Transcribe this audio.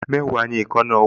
Mẹ́wàá ni èékánná ọwọ́